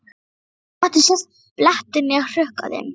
Ekki mátti sjást blettur né hrukka á þeim.